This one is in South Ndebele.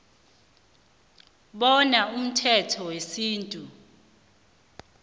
bona umthetho wesintu